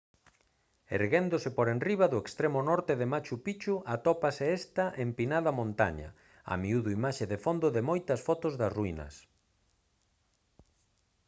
erguéndose por enriba do extremo norte de machu picchu atópase esta empinada montaña a miúdo imaxe de fondo de moitas fotos das ruínas